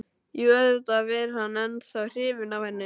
Jú, auðvitað var hann ennþá hrifinn af henni.